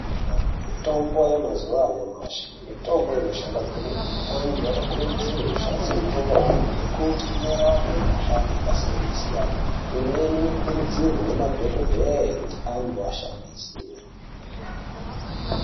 Vantu anokurudzirwa kushandisa mitombo iyi ngekuti inorape mukhuhlani yakasiyana siyana. Imweni inokurudzirwe nemadhokodheya kuti antu ashandise